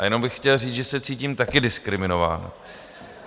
A jenom bych chtěl říct, že se cítím také diskriminován.